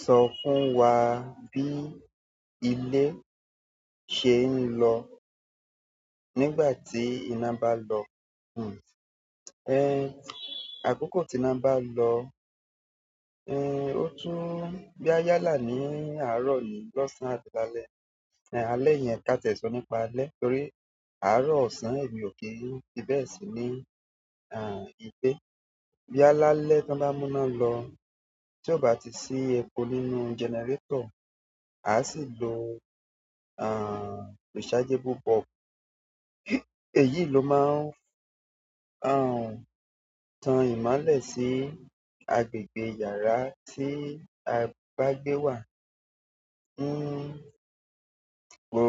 Sọ fún wa bí ilé ṣe ń lọ nígbà tí iná bá lọ. Uhn ehn, akoko tina ba lo, ehn o to boya yálà ni àárọ̀ ni losan àbí lálẹ́, ehn alẹ́ yen, ka tie so nípa alẹ́ torí àárọ̀ osan emi o ki n fi bẹ́ẹ̀ si ni ah ile boya lálẹ́ ton ba muna lo, ti o ba ti si epo nínú generator a si lo ah rechargeable bulb. Èyí i ló máa ń, aah, tan ìmolẹ̀ sí agbègbè yàrá tí a bá gbé wà. Hmm, kò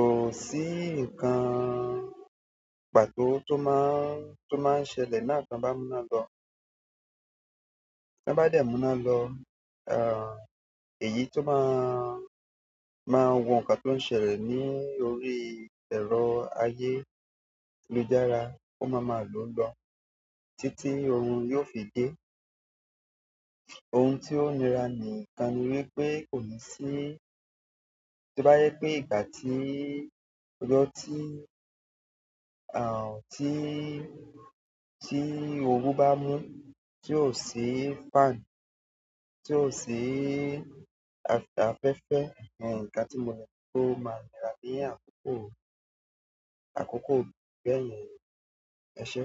sí ǹkan pàtó tó máa ń, tó máa ń ṣẹlẹ̀ náà ton bá múna lọ. Tọ́n bá dẹ̀ múná lọ, aah, èyí tó máa, máa wo ǹkan tó ń ṣẹlẹ̀ ní orí ẹ̀rọ ayé lujára ó máa máa ló o lọ títí orun yóò fi dé. Ohun tí ó nira níkan ni wípé kò ní sí. Tó bá yẹ́ pé ìgbà tí ojó ti, aah, ti, tí oru bá mú tí ò sí fan, tí ò sí af afẹ́fẹ́, ehn, nkan tí mo le rí pé ó máa nira ní àkókò, àkókò bẹ́yen. Ẹ ṣé?